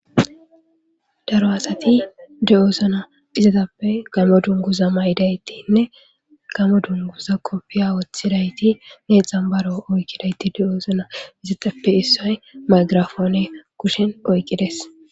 Daro asati de7oosuna izatappe gamo dunguza may7idaytinne gamo dunguza kopfiya woththidaytine xambaro oykkidayti de7oosuna izatappe issoy maygirafoone kushen oyqqides.